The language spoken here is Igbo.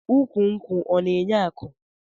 Ukwu nkwụ ọna enye aku?